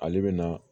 Ale bɛ na